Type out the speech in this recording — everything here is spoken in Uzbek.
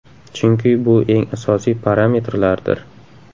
Chunki bu eng asosiy parametrlardir.